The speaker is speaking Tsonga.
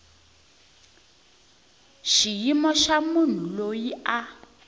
xiyimo xa munhu loyi a